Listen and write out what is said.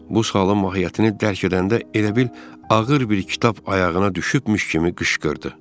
Bu halın mahiyyətini dərk edəndə elə bil ağır bir kitab ayağına düşübmüş kimi qışqırdı.